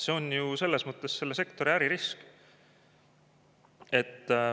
See on ju selle sektori äririsk.